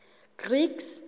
greeks